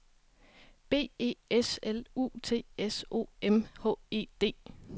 B E S L U T S O M H E D